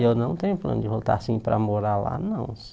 Eu não tenho plano de voltar assim para morar lá, não.